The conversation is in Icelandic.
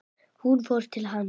Hún fór til hans.